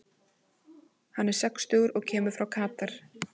Hann er sextugur og kemur frá Katar.